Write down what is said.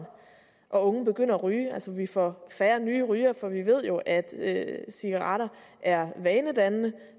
og unge begynder at ryge altså at vi får færre nye rygere for vi ved jo at cigaretter er vanedannende